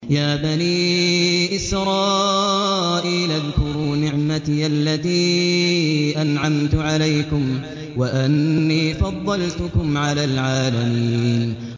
يَا بَنِي إِسْرَائِيلَ اذْكُرُوا نِعْمَتِيَ الَّتِي أَنْعَمْتُ عَلَيْكُمْ وَأَنِّي فَضَّلْتُكُمْ عَلَى الْعَالَمِينَ